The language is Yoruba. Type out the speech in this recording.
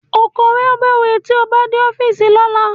Ó kọwọ́ bọ̀wé tí ó bá dé ọ́fíìsì lọ́la